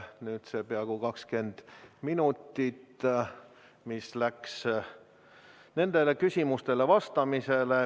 Peaaegu 20 minutit on kulunud nendele küsimustele vastamisele.